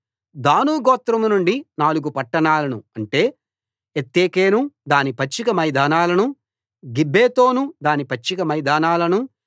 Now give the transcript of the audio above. దాను గోత్రం నుండి నాలుగు పట్టణాలను అంటే ఎత్తెకేను దాని పచ్చిక మైదానాలనూ గిబ్బెతోను దాని పచ్చిక మైదానాలనూ